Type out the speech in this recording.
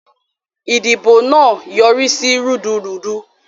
Idibo naa yorisi rudurudu.